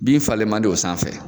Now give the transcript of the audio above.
Bin falen man di o sanfɛ?